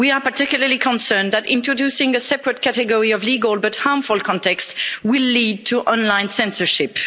We are particularly concerned that introducing a separate category of legal but harmful context will lead to online censorship.